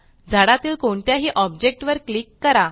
झाडातील कोणत्याही ऑब्जेक्ट वर क्लिक करा